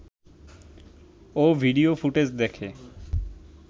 ও video footage দেখে